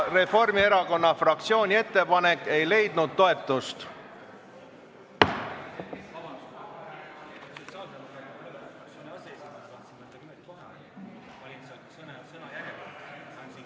Reformierakonna fraktsiooni ettepanek ei leidnud toetust.